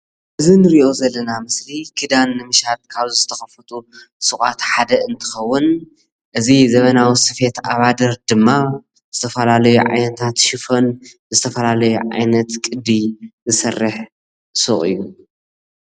እዚ እንርእዮ ዘለና ምስሊ ክዳን ንምሻጥ ካብ ዝተከፈቱ ሱቃት ሓደ እንትኸውን እዚ ዘበናዊ ስፌት ኣባድር ድማ ዝተፈላለዩ ዓይነታት ሽፎን ፣ዝተፈላለዩ ዓይነት ቅዲ ዝሰርሕ ሱቅ እዩ።